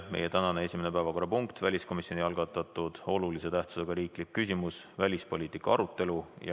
Meie tänane esimene päevakorrapunkt on väliskomisjoni algatatud olulise tähtsusega riikliku küsimusena välispoliitika arutelu.